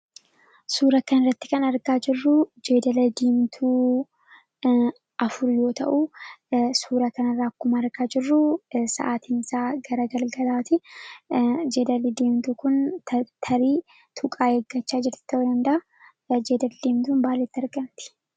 Suura kanarratti kan argaa jirru Jeedala Diimtuu afur yoo ta'u, suura kanarraa akkuma argaa jirru sa'aatiinsaa gara galgalaati. Jeedalli Diimtuu kun tarii tuqaa eeggachaa jirti ta'uu danda'a. Jeedalli Diimtuun maalitti argamti?